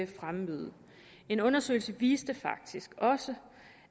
fremmøde en undersøgelse viste faktisk også